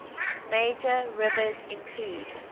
major rivers include